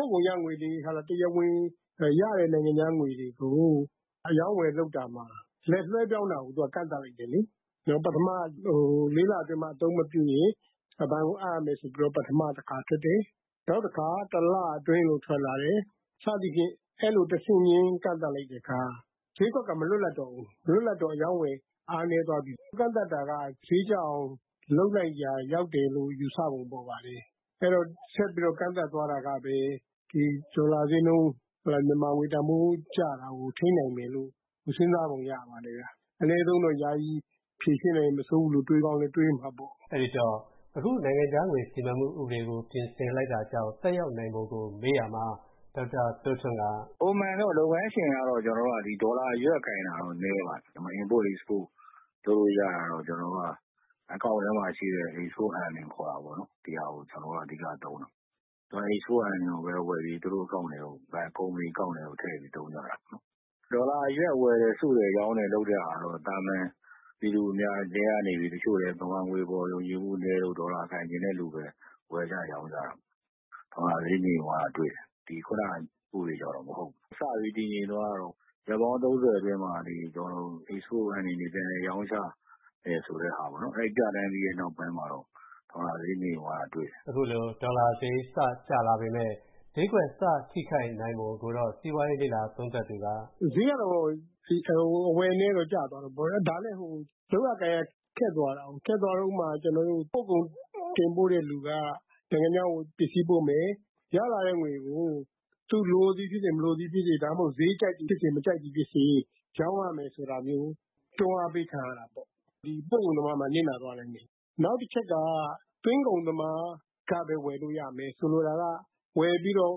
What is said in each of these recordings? ို့ကုန်ရငွေတွေ တရားဝင်ရတဲ့ နိုင်ငံခြားငွေတွေကို အရောင်းအဝယ် လုပ်တာမှာ လက်လွှဲပြောင်းတာကို သူက ကန့်သတ်လိုက်တယ်။ ပထမ ၄ လအတွင်းမှာ အသုံးမပြုရင် ဘဏ်ကိုအပ်ရမယ်ဆိုပြီး ပထမတခါ ထွက်တယ်။ နောက်တခါ တလအတွင်းလို့ ထွက်လာတယ်၊ စသည်ဖြင့် အဲ့လို တဆင့်ချင်း ကန့်သတ်လိုက်တဲ့အခါ ဈေးကွက်က မလွတ်လပ်တော့ဘူး။ မလွတ်လပ်တော့ အရောင်းအဝယ် အားနည်းသွားပြီး ကန့်သတ်တာက ဈေးကျအောင် လုပ်လိုက်ရာ ရောက်တယ်လို့ ယူဆပုံပေါ်ပါတယ်။ အဲဒီတော့ ဆက်ပြီး ကန့်သတ်သွားတာကပဲ ဒေါ်လာဈေးနှုန်း မြန်မာငွေတန်ဖိုး ကျတာကို ထိန်းနိုင်မယ်လို့ စဉ်းစားပုံရပါတယ်။ အနည်းဆုံးတော့ ယာယီဖြေရှင်းနိုင်လည်း မဆိုးဘူးလို့ တွေးကောင်းလည်း တွေးမှာပေါ့။” “ပုံမှန်တော့ လုပ်ငန်းရှင်တွေက ဒေါ်လာအရွက်ကိုင်တာတော့ နည်းပါတယ်။ ဒါပေမယ့် Import, Export လုပ်လို့ရတာတော့ ကျနော်တို့က အကောင့်ထဲမှာရှိတဲ့ Export Earning ခေါ်တာပေါ့၊ ဒီဟာကို အဓိကသုံးတယ်။ Export Earning ကိုပဲဝယ်ပြီး သူတို့ ကုမ္ပဏီအကောင့်ထဲထည့်ပြီး သုံးကြတာပေါ့။ ဒေါ်လာအရွက် ဝယ်တယ်၊ စုတယ်၊ ရောင်းတယ် လုပ်ကြတာတော့ သာမန်ပြည်သူထဲကနေပြီး တချို့လည်း မြန်မာငွေအပေါ် ယုံကြည်မှုနည်းလို့ ဒေါ်လာကိုင်ချင်တဲ့လူပဲ ဝယ်ကြ ရောင်းကြတာ။ ဒေါ်လာဈေးငြိမ်သွားတာ တွေ့တယ်။ ခုနဥပဒေကြောင့်တော့ မဟုတ်ဘူး။ စပြီး တည်ငြိမ်သွားတာ ရက်ပေါင်း ၃၀ အတွင်းမှာ Export Earning တွေ ပြန်လည်ရောင်းချရမယ်ဆိုတဲ့ဟာပေါ့၊ အဲဒီ ပြဋ္ဌာန်းပြီးတဲ့ နောက်ပိုင်းမှာတော့ ဒေါ်လာဈေး ငြိမ်သွားတာ တွေ့တယ်။” “ဈေးကတော့ အဝယ်နည်းတော့ ကျသွားတာပေါ့။ ဒါလည်း လုပ်ရကိုင်ရ ခက်သွားတာကိုး။ ခက်သွားတာက ဥပမာ ပို့ကုန်တင်ပို့တဲ့လူက နိုင်ငံခြားကို ပစ္စည်းပို့မယ်၊ ရလာတဲ့ငွေကို သူ လိုသည်ဖြစ်စေ၊ မလိုသည်ဖြစ်စေ၊ ဒါမှမဟုတ် ဈေးကြိုက်သည်ဖြစ်စေ၊ မကြိုက်သည်ဖြစ်စေ ရောင်းရမယ်ဆိုတာမျိုး တွန်းအားပေးခံရတာပေါ့။ ပို့ကုန်သမားမှာ နစ်နာသွားနိုင်တယ်။ နောက်တချက်က သွင်းကုန်သမားကပဲ ဝယ်လို့ရမယ်။ ဆိုလိုတာက ဝယ်ပြီးတော့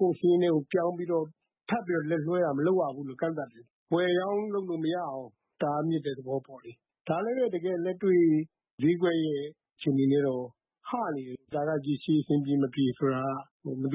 ကိုယ့်စာရင်းထဲကို ပြောင်းပြီးတော့ ထပ်ပြီးတော့ လက်လွှဲတာ မလုပ်ရဘူးလို့ ကန့်သတ်တယ်။ ဝယ်ရောင်းလုပ်လို့မရအောင် တားမြစ်တဲ့ သဘောပေါ့လေ။ ဒါလည်းပဲ တကယ်လက်တွေ့ ဈေးကွက်ရဲ့ အခြေအနေနဲ့တော့ ဟနေတယ်။ ဒါက ရေရှည် အဆင်ပြေ မပြေ ဆိုတာက မသ